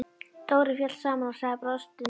Dóri féll saman og sagði brostinni röddu